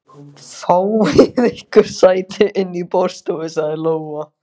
Fáið ykkur sæti inni í borðstofu, sagði Lóa.